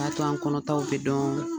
K'a to an kɔnɔtɔw bɛ dɔn